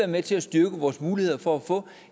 med til at styrke vores muligheder for at få